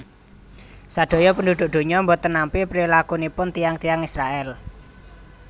Sadaya penduduk dunya mboten nampi prilakunipun tiyang tiyang Israel